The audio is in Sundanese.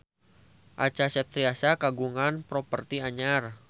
Acha Septriasa kagungan properti anyar